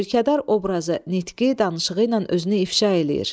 Mülkədar obrazı nitqi, danışığı ilə özünü ifşa eləyir.